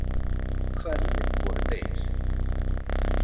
Hverjir voru þeir?